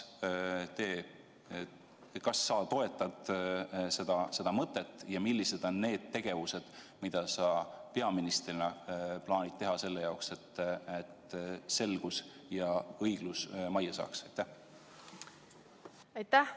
Kas sa toetad seda mõtet ja millised on need tegevused, mida sa peaministrina plaanid selle jaoks, et selgus ja õiglus majja saaks?